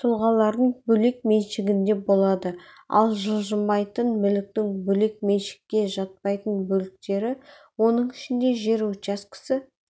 тұлғалардың бөлек меншігінде болады ал жылжымайтын мүліктің бөлек меншікке жатпайтын бөліктері оның ішінде жер учаскесі